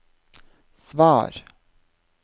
svar